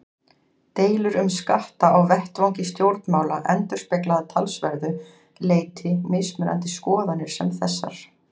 Deilur um skatta á vettvangi stjórnmála endurspegla að talsverðu leyti mismunandi skoðanir sem þessar.